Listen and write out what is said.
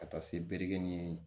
Ka taa se bere ni